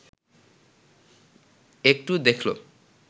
একটু দেখল